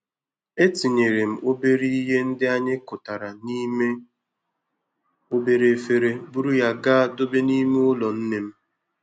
E tinyere m obere ihe ndị anyị kụtara n'ime obere efere buru ya gaa dobe n'ime ụlọ nne m.